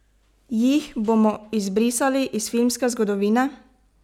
Jih bomo izbrisali iz filmske zgodovine?